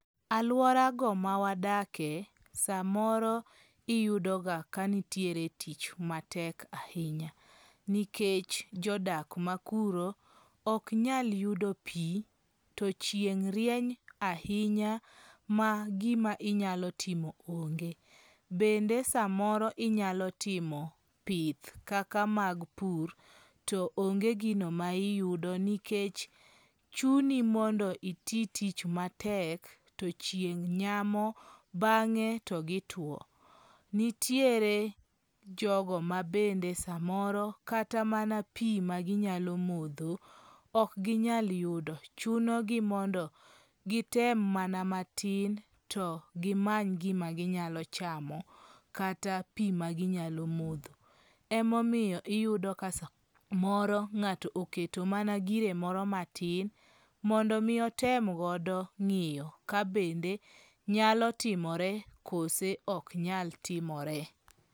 Aluora go ma wadake samoro iyudo ga kanitiere tich matek ahinya. Nikech jodak makuro ok nyal yudo pi to chieng' rieny ahinya ma gima inyalo timo onge. Bende samoro inyalo timo pith kaka mag pur to onge gino ma iyudo nikech chuni mondo iti tich matek to chieng' nyamo bang'e to gituo. Nitiere jogo ma bende samoro katamana pi ma ginyalo modho ok ginyal yudo. Chuno gi mondo gitem mana matin to gimany gima ginyalo chamo kata pi maginyalo modho. E momiyo iyudo ka samoro ng'ato oketo mana gire moro matin mondo mi otem godo ng'iyo ka bende nyalo timore koso ok nyal timore.